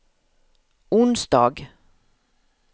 onsdag